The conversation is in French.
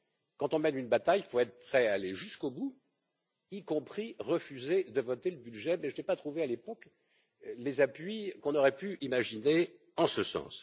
Quand on mène une bataille, il faut être prêt à aller jusqu'au bout, y compris refuser de voter le budget, mais je n'ai pas trouvé, à l'époque, les appuis qu'on aurait pu imaginer en ce sens.